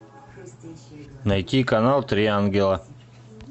найти канал три ангела